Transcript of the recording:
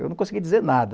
Eu não consegui dizer nada.